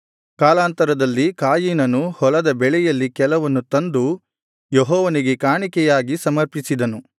ಕಾಲಾಂತರದಲ್ಲಿ ಕಾಯಿನನು ಹೊಲದ ಬೆಳೆಯಲ್ಲಿ ಕೆಲವನ್ನು ತಂದು ಯೆಹೋವನಿಗೆ ಕಾಣಿಕೆಯಾಗಿ ಸಮರ್ಪಿಸಿದನು